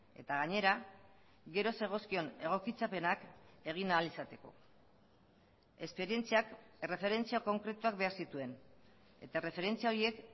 eta gainera gero zegozkion egokitzapenak egin ahal izateko esperientziak erreferentzia konkretuak behar zituen eta erreferentzia horiek